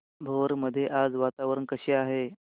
भोर मध्ये आज वातावरण कसे आहे